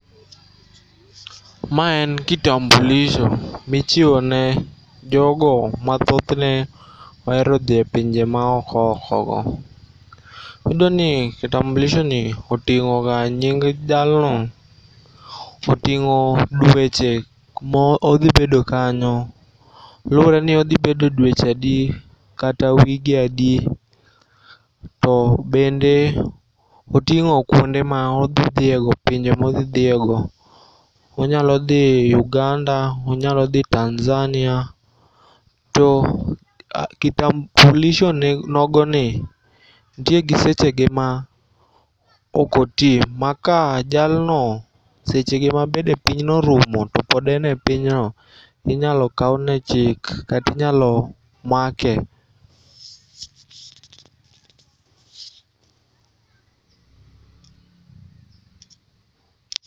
Ma en kitambulisho michiwo ne jogo ma thothne oero dhie pinje maoko okogo. Iyudoni kitambulishoni oting'oga nying jalno, oting'o dueche modhibedo kanyo. Lureni odhibedo dueche adi kata wige adi to bende oting'o ma odhi dhiego, pinje ma odhi dhiego. Onyalodhi Uganda, onyalodhi Tanzania. To kitambulisho nogoni ntie gi sechege ma okotii ma ka jalno sechege ma bede pinyno orumo to pod en e pinyno, inyalo kaune chik katinyalo make.